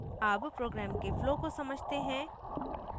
अब program के flow को समझते हैं